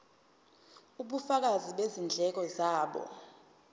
ubufakazi bezindleko zabo